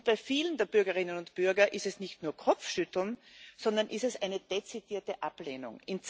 Bei vielen der Bürgerinnen und Bürger ist es nicht nur Kopfschütteln, sondern es ist eine dezidierte Ablehnung.